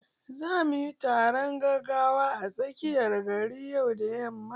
Zamu yi taron gaggawa a tsakiyar gari yau da yamma.